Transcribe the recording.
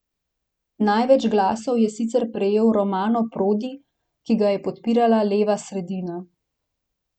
Največ glasov je sicer prejel Romano Prodi, ki ga podpira leva sredina.